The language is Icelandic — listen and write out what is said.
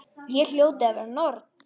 Ég hljóti að vera norn.